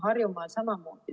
Harjumaal samamoodi.